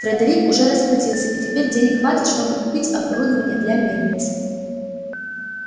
фредерик уже расплатился и теперь денег хватит чтобы купить оборудование для мельницы